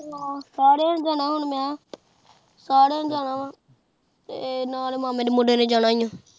ਹਾਂ ਸਰਯ ਨੇ ਜਾਣਾ ਆਹ ਹੁਣ ਮੈ ਸਰੇਨੇ ਜਾਣਾ ਹੋਰ ਨਾਲ ਮਾਮੇ ਦੇ ਮੁੰਡੇ ਨੇ ਜਾਣਾ ਆਹ